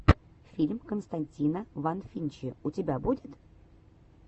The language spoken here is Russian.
фильм константина фанвинчи у тебя будет